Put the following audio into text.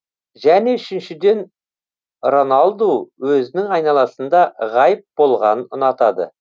және үшіншіден роналду өзінің айналасында ғайып болғанын ұнатады